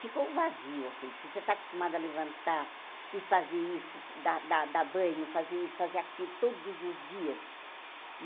Ficou vazio assim, porque você está acostumada a levantar e fazer isso, dar dar dar banho, fazer isso, fazer aquilo todos os dias.